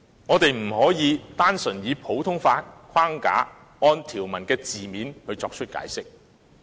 我們不可以單純以普通法框架，按條文的字面作出解釋。